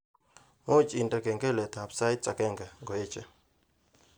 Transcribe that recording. Muuch indene kengeletab sait agenge ngoeche